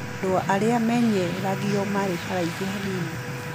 Andũ arĩa menyeragio maarĩ haraihu hanini.